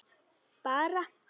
Bara